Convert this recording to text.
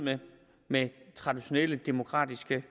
med traditionelle demokratiske